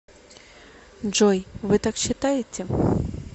джой вы так считаете